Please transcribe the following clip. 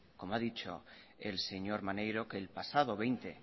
como ha dicho el señor maneiro que el pasado veinte